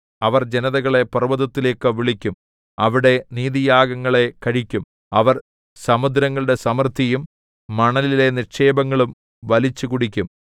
അവർ ജനതകളെ പർവ്വതത്തിലേക്കു വിളിക്കും അവിടെ നീതിയാഗങ്ങളെ കഴിക്കും അവർ സമുദ്രങ്ങളുടെ സമൃദ്ധിയും മണലിലെ നിക്ഷേപങ്ങളും വലിച്ചുകുടിക്കും